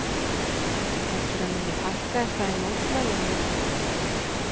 Heldurðu að muni fækka eitthvað í mótmælin við þetta?